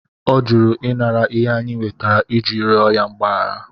Ọ jụrụ inara ihe anyị wetere iji rịọ ya mgbaghara.